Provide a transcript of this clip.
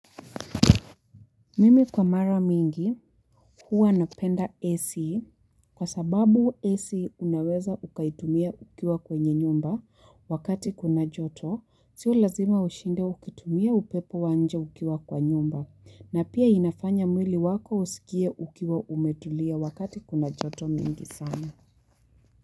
Mimi kwa mara mingi huwa napenda AC kwa sababu AC unaweza ukaitumia ukiwa kwenye nyumba wakati kuna joto. Sio lazima ushinde ukitumia upepo wa nje ukiwa kwa nyumba na pia inafanya mwili wako usikie ukiwa umetulia wakati kuna joto mingi sana.